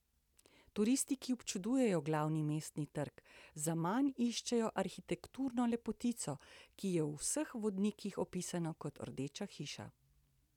Turisti, ki občudujejo glavni mestni trg, zaman iščejo arhitekturno lepotico, ki je v vseh vodnikih opisana kot rdeča hiša.